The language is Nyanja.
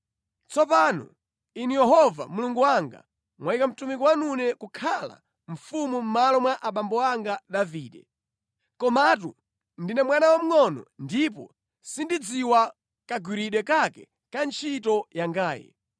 “Tsopano Inu Yehova Mulungu wanga, mtumiki wanune mwandiyika kukhala mfumu mʼmalo mwa abambo anga Davide. Komatu ndine mwana wamngʼono ndipo sindidziwa kagwiridwe kake ka ntchito yangayi.